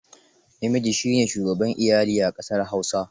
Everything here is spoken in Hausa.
Namiji shi ne shugaban iyali a ƙasar Hausa.